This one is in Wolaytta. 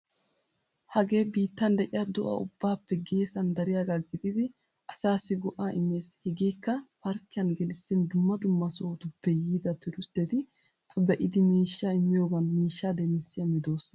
Hagee biittan de'iya do'a ubbaappe geesan dariyaagaa gididi asaassi go'aa immees. Hegeekka parkkiyan gelissin dumm dumma sohotuppe yiida turistteti A be'idi miishshaa immiyogan miishshaa demissiya medoosa.